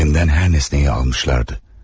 Elimden her nesneyi almışlardı.